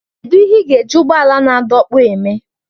Kedu ihe ị ga-eji ụgbọala na-adọkpụ eme?